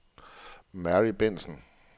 Mary Bentsen